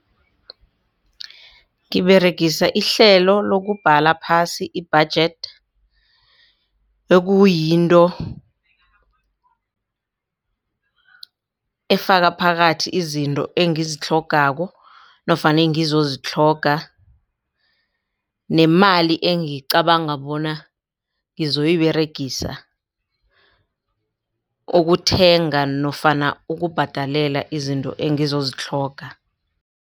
Ngiberegisa ihlelo lokubhala phasi i-budget ekuyinto efaka phakathi izinto engizitlhogako nofana engizozitlhoga nemali engicabanga bona ngizoyiberegisa ukuthenga nofana ukubhadelela izinto engizozitlhoga.